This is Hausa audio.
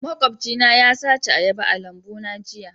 Makwabcina ya sace ayaba a lambuna jiya